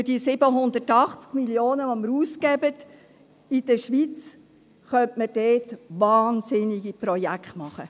Für die 780 Mio. Franken, die wir in der Schweiz ausgeben, könnte man dort wahnsinnige Projekte realisieren.